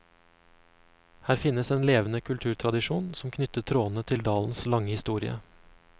Her finnes en levende kulturtradisjon, som knytter trådene til dalens lange historie.